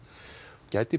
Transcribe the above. gæti